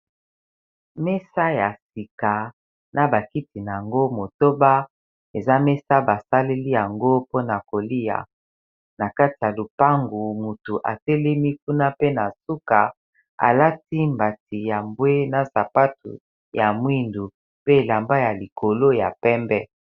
mesa ya sika na bakiti na yango motoba eza mesa basaleli yango mpona kolia na kati ya lupangu motu atelemi kuna pe na suka alati mbati ya mbwe na sapato ya mwindu pe elamba ya likolo ya pembe